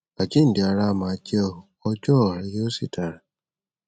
àjíǹde ara á máa jẹ o ọjọ ọa rẹ yóò sì dára